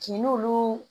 Kin n'olu